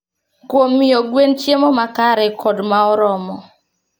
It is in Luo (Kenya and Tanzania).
Kuom miyo gwen chiemo makare kod ma oromo.